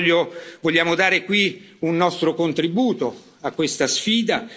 Oggi voglio, vogliamo dare qui un nostro contributo a questa sfida.